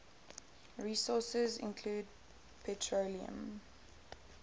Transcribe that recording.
resources include petroleum